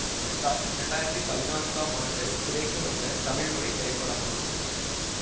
மெட்ராஸ் இரண்டாயிரத்தி பதினான்காம் ஆண்டு திரைக்கு வந்த தமிழ் மொழி திரைப்படமாகும்